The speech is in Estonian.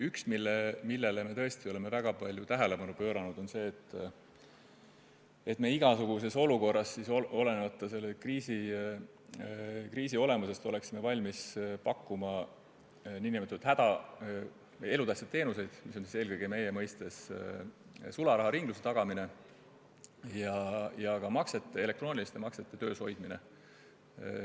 Üks asi, millele me oleme tõesti väga palju tähelepanu pööranud, on see, et oleksime igasuguses olukorras – sõltumata kriisi olemusest – valmis pakkuma n-ö elutähtsaid teenuseid, milleks meie mõistes on eelkõige sularaharingluse tagamine ja elektrooniliste maksete töös hoidmine.